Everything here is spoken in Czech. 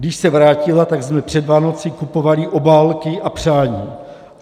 Když se vrátila, tak jsme před Vánoci kupovali obálky a přání.